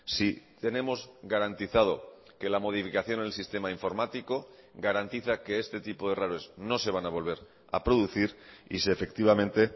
si tenemos garantizado que la modificación en el sistema informático garantiza que este tipo de errores no se van a volver a producir y si efectivamente